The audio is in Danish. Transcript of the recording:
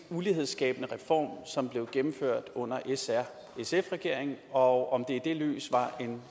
ulighedsskabende reform som blev gennemført under s r sf regeringen og om det lys var en